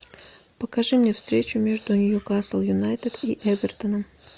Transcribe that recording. покажи мне встречу между ньюкасл юнайтед и эвертоном